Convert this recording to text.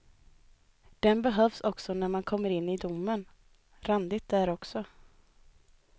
Den behövs också när man kommer in i domen, randigt där också.